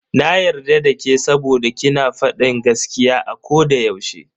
Na yarda dake saboda ki na fadin gaskiya a koda yaushe.